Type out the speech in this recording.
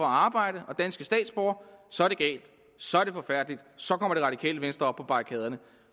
arbejde og danske statsborgere så er det galt så er det forfærdeligt så kommer det radikale venstre op på barrikaderne